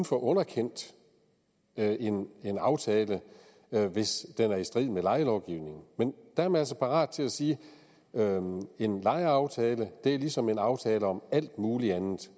få underkendt en en aftale hvis den er i strid med lejelovgivningen men der er man altså parat til at sige en lejeaftale er ligesom en aftale om alt muligt andet